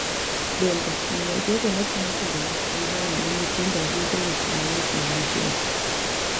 Bende, miyo jogo ma timo timbe mag anjao ne nyithindo yudo weche mayot mag nyithindo.